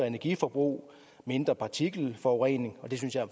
energiforbrug mindre partikelforurening og det synes jeg